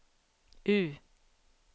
U